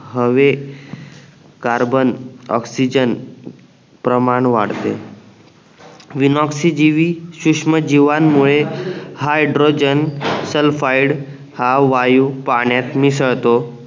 हवे carbon oxygen प्रमाण वाढते विनॉक्सिजीवी सुष्म जीवानमूळे हैड्रोजेन सल्फाईड हा वायू पाण्यात मिसळतो